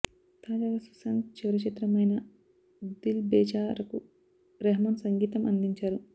తాజాగా సుశాంత్ చివరి చిత్రం అయిన దిల్ బేచారకు రెహమాన్ సంగీతం అందించారు